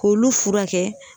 K'olu furakɛ